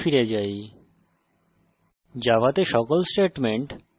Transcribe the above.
editor এ ফিরে যাই